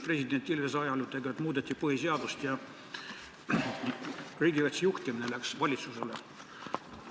President Ilvese ajal muudeti põhiseadust ja riigikaitse juhtimine läks valitsusele.